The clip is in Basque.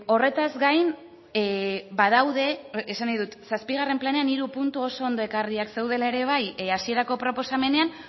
horretaz gain badaude esan nahi dut zazpigarren planean hiru puntu oso ondo ekarriak zeudela ere bai hasierako proposamenean